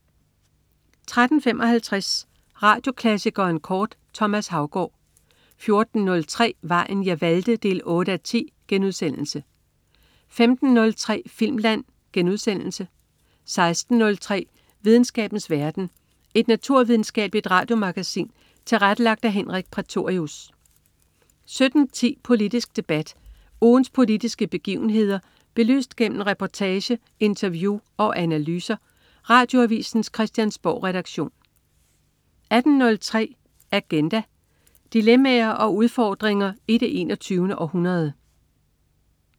13.55 Radioklassikeren kort. Thomas Haugaard 14.03 Vejen jeg valgte 8:10* 15.03 Filmland* 16.03 Videnskabens verden. Et naturvidenskabeligt radiomagasin tilrettelagt af Henrik Prætorius 17.10 Politisk debat. Ugens politiske begivenheder belyst gennem reportage, interview og analyser. Radioavisens Christiansborgredaktion 18.03 Agenda. Dilemmaer og udfordringer i det 21. århundrede